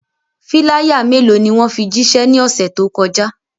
Filaya melo ni wọn fi jiṣẹ ni ọse to kọja?